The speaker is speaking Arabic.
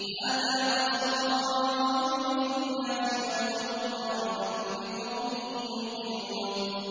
هَٰذَا بَصَائِرُ لِلنَّاسِ وَهُدًى وَرَحْمَةٌ لِّقَوْمٍ يُوقِنُونَ